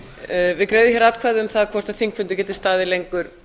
greiðum hér atkvæði um það hvort þingfundi r geti staðið lengur